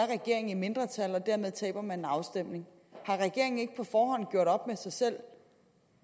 regeringen i mindretal og dermed taber man en afstemning har regeringen ikke på forhånd gjort op med sig selv